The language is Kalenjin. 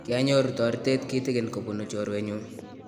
kianyoru toritet kitigin kobunu chiorwenyu